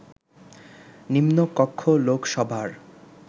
নিম্নকক্ষ লোকসভার